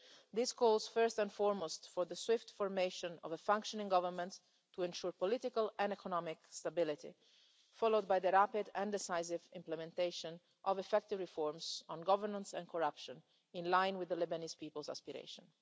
This calls, first and foremost, for the swift formation of a functioning government to ensure political and economic stability, followed by the rapid and decisive implementation of effective reforms on governance and corruption, in line with the Lebanese people's aspirations.